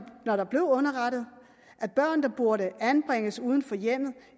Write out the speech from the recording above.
blev underrettet at børn der burde anbringes uden for hjemmet